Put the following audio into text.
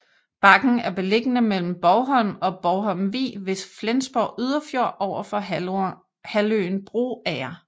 Bakken er beliggende mellem Bogholm og Bogholmvig ved Flensborg Yderfjord overfor halvøen Broager